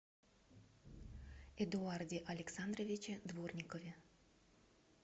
эдуарде александровиче дворникове